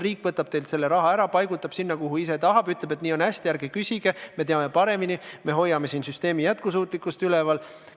Riik võtab teilt teie raha ära, paigutab sinna, kuhu ise tahab, ütleb, et nii on hästi, ärge küsige, me teame paremini, me hoiame siin süsteemi jätkusuutlikkust üleval.